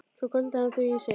Svo hvolfdi hann því í sig.